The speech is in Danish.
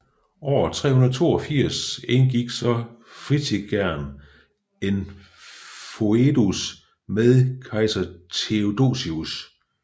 År 382 indgik så Fritigern en foedus med kejser Theodosius